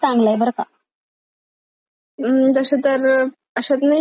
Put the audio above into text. अम्म तसे तर अश्यात नाहीयेत केले पण ऑप्शन चांगलंय!